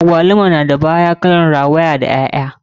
Agwaluma na da baya kalan rawaya da ƴaƴa.